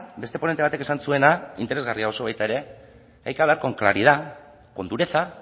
beste ponente batek esan zuena interesgarria oso baita ere hay que hablar con claridad con dureza